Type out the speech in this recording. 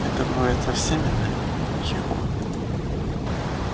это бывает со всеми нами егор